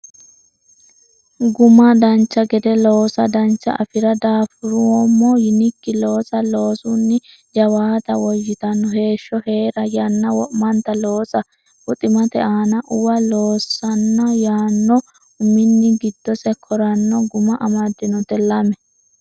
Guma Dancha gede loosa Dancha afi ra Daafuroommo yinikki loosa Loosunni jawaata Woyyitino heeshsho hee ra Yanna wo manta loosa Buximate aana uwa Loosonna yaanno uminni giddose koranna guma amaddinota lame.